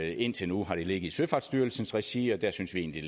indtil nu har det ligget i søfartsstyrelsens regi og der synes vi egentlig